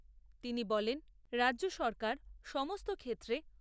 তিনি বলেন, রাজ্য সরকার সমস্ত ক্ষেত্রে